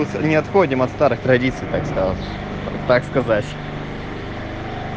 мы не отходим от старых традиций осталось так сказать